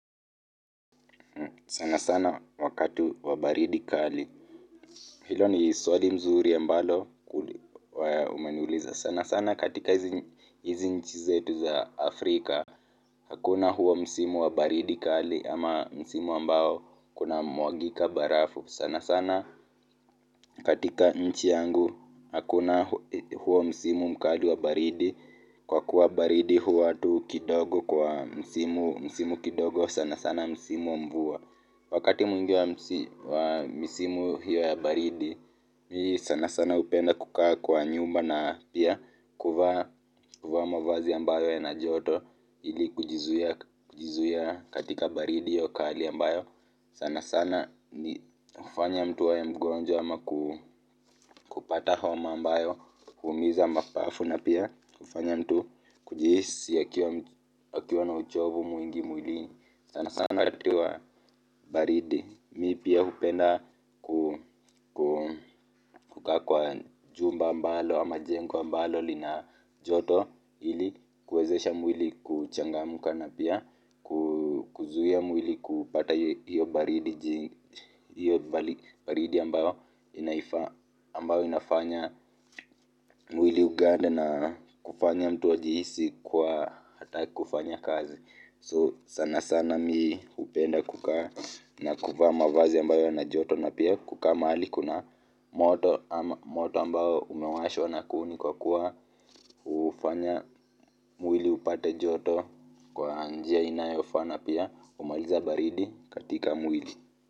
Sana sana wakati wa baridi kali. Hilo ni swali zuri ambalo. Umeniuliza sana sana katika nchi zetu za Afrika. Hakuna huo msimu wa baridi kali ama msimu ambao kunamwakika barafu sana sana. Katika nchi yangu hakuna huo msimu mkali wa baridi, kwa kuwa baridi huwa tu kidogo kwa msimu msimu kidogo sana sana msimu wa mvua. Wakati mwingi wa msimu hiyo ya baridi mimi sana sana hupenda kukaa kwa nyumba na pia kuvaa mavazi ambayo yana joto ili kujizuia katika baridi hiyo kali, ambayo sana sana humfanya mtu awe mgonjwa ama kupata homa ambayo huumiza mapafu na pia humfanya mtu kujihisi akiwa na uchovu mwingi mwilini, sana sana wakati wa baridi. Mimi pia hupenda. Kukaa kwa chumba au jengo ambalo lina joto ili kuwezesha mwili kuchangamka na pia. Kuzuia mwili kupata hiyo baridi, hiyo baridi ambayo inafanya. Mwili ugande na kufanya mtu ajihisi, kuwa hataki kufanya kazi. Sana sana mimi hupenda kukaa. Na kuvaa mavazi ambayo yana joto na pia kukaa mahali kuna moto ama moto ambayo umewashwa na kuni kwa kuwa hufanya mwili upate joto kwa njia inayofana pia humaliza baridi katika mwili.